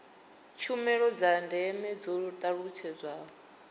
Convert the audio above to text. tshumelo dza ndeme dzo talutshedzwa